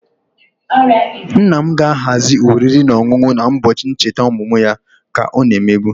Nna m ga-ahazi oriri na ọṅụṅụ na-ụbọchị ncheta ọmụmụ ya ka ọ na-emebu